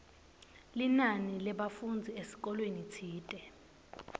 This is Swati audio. linani lebafundzi esikolweni tsite